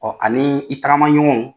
ani i tagama ɲɔgɔn